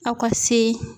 Aw ka se